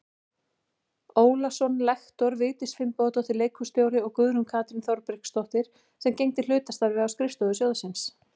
Ólason lektor, Vigdís Finnbogadóttir leikhússtjóri og Guðrún Katrín Þorbergsdóttir sem gegndi hlutastarfi á skrifstofu sjóðsins.